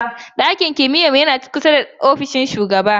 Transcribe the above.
Ɗakin kimiyyar lissafin mu yana kusa da ofishin shugaban makaranta.